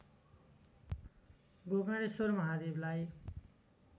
Gokarneshwar महादेवलाई